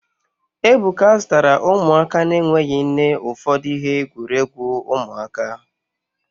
Ebuka zụtara ụmụaka na-enweghị nne ụfọdụ ihe egwuregwu ụmụaka